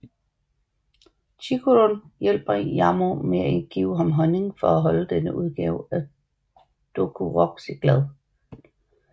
Chikurun hjælper Yamoh ved at give ham honning for at holde denne udgave af Dokuroxy glad